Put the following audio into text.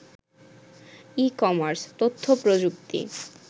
e-commerce, তথ্যপ্রযুক্তি